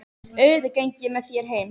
Auðvitað geng ég með þér heim